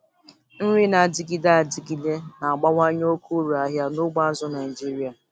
Nri na-adịgide adịgide na-abawanye oke uru ahịa n'ugbo azụ̀ Naịjiria.